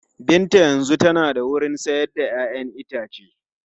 Binta yanzu tana da wurin sayar da 'ya'yan itace.